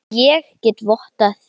Ég get vottað það.